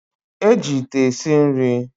Eji ite esi nri